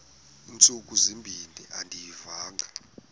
ntsuku zimbin andiyivanga